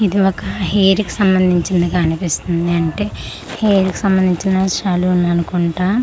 ఇది ఒక హెయిర్ కి సంబంధించిందిగా అనిపిస్తుంది అంటే హెయిర్ కి సంబధించిన సెలూన్ అనుకుంట.